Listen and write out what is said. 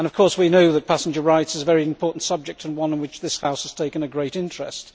We know that passenger rights is a very important subject and one in which this House has taken a great interest.